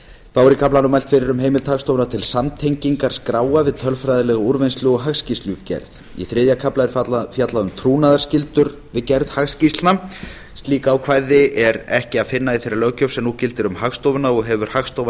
þá er í kaflanum mælt fyrir um heimild hagstofunnar til samtengingar skráa við tölfræðilega úrvinnslu og hagskýrslugerð í þriðja kafla er fjallað um trúnaðarskyldur við gerð hagskýrslna slík ákvæði er ekki að finna í þeirri löggjöf sem nú gildir um hagstofuna og hefur hagstofan